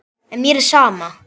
En mér er sama.